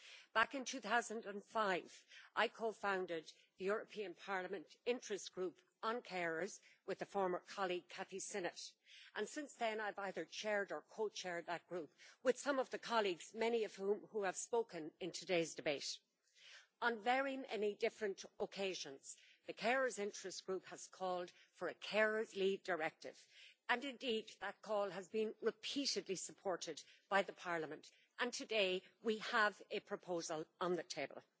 Back in 2005 I co founded the European Parliament Interest Group on Carers with former colleague Kathy Sinnott, and since then I have either chaired or co chaired that group with some of the colleagues, many of whom having spoken in today's debate. On very many different occasions the Carers Interest Group has called for a carers' leave directive and indeed that call has been repeatedly supported by Parliament, and today we have a proposal on the table.